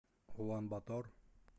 улан батор